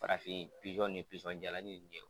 Farafin pizɔn ni pizɔn jalani nin ye